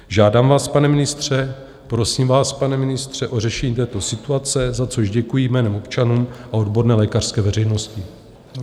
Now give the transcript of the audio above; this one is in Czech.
Žádám vás, pane ministře, prosím vás, pane ministře, o řešení této situace, za což děkuji jménem občanů a odborné lékařské veřejnosti.